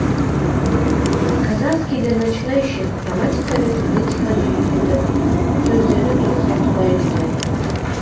казахский для начинающих грамматика мен фонетиканы үйретіп сөздерді дұрыс айтуға үйретеді